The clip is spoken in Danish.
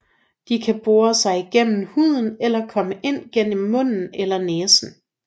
De kan bore sig gennem huden eller komme ind gennem munden eller næsen